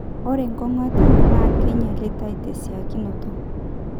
ore nkong'at ang naa keinyialitae tesiokinoto